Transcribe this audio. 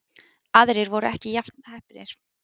Aðrir voru ekki jafn heppnir